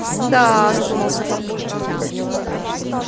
мда задумался папулька